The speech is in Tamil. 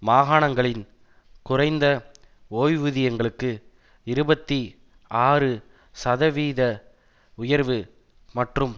மாகாணங்களின் குறைந்த ஓய்வூதியங்களுக்கு இருபத்தி ஆறு சதவீத உயர்வு மற்றும்